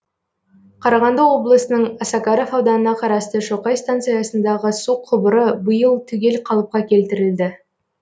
қарағанды облысының осакаров ауданына қарасты шоқай станциясындағы су құбыры биыл түгел қалыпқа келтірілді